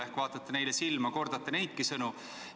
Ehk vaatate neile silma ja kordate neidki sõnu?